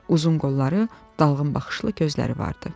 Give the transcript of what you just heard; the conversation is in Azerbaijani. Uzun qolları, dalğın baxışlı gözləri vardı.